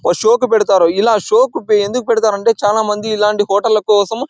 ఓ show కి పెడతారు. ఇలా చాల మంది షో కి ఎందుకు పెడతారంటే చాలా మంది ఇలాంటి హోటల్స్ కోసం--